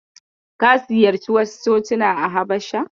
Ka ziyarci wasu cocina a Habasha?